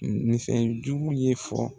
Nin fɛn jugu ye fɔ